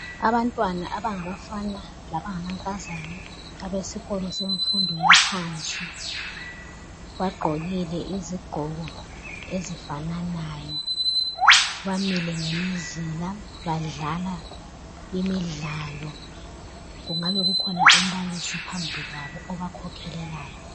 Abantwana abangabafana lamankazana abesikolo yemfundo yaphansi bagqokile iziqgoko ezifananayo bamile ngemizila badlala imidlalo kungabe kukhona umbalisi phambili kwabo obakhokhelayo